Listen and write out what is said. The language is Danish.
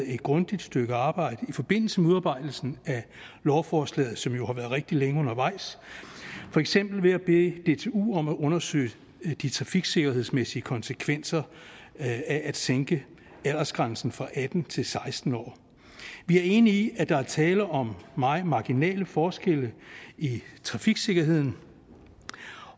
et grundigt stykke arbejde i forbindelse med udarbejdelsen af lovforslaget som jo har været rigtig længe undervejs for eksempel ved at bede dtu om at undersøge de trafiksikkerhedsmæssige konsekvenser af at sænke aldersgrænsen fra atten til seksten år vi er enige i at der er tale om meget marginale forskelle i trafiksikkerheden